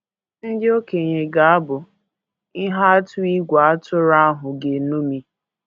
Ndị okenye ga - abụ “ ihe atụ ìgwè atụrụ ahụ ga - eṅomi ”